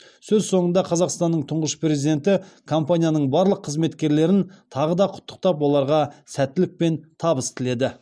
сөз соңында қазақстанның тұңғыш президенті компанияның барлық қызметкерлерін тағы да құттықтап оларға сәттілік пен табыс тіледі